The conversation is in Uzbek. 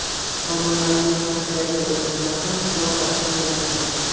Tomonlarning Karpidagi o‘yinida ham hisob ochilmagandi.